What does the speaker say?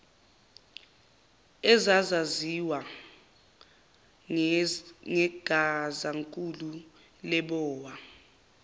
ezazaziwa ngegazankulu lebowa